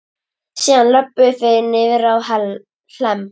Síðan löbbuðu þeir niðrá Hlemm.